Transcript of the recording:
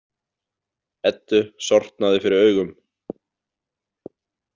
Eddu sortnaði fyrir augum.